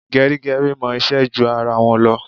Gẹrígẹrí mọ iṣẹ́ ju ara wọn lọ.